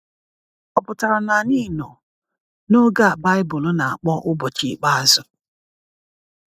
Ọ̀ pụtara na anyị nọ n’oge a Baịbụl na-akpọ “ụbọchị ikpeazụ”?